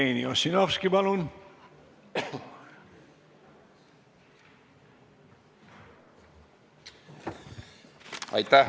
Jevgeni Ossinovski, palun!